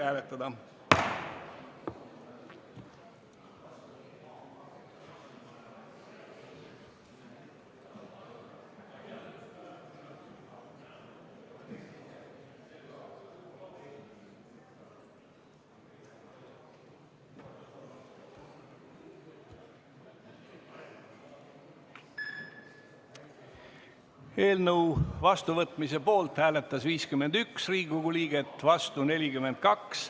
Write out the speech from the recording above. Hääletustulemused Eelnõu vastuvõtmise poolt hääletas 51 Riigikogu liiget, vastu 42.